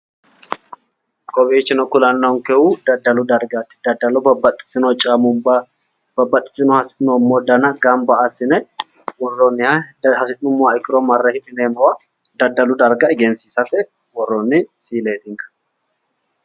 kowiichino kulannonkehu daddalu dargubbaati babbaxitino caammubba babbaxitino hasi'noommo dana gamba assine worroonniha hidha hasi'nomoha ikkiro marre hidhineemmowo daddalu darga egensiisate worroonni siileetinka.